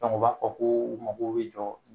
u b'a fɔ ko mago bɛ jɔ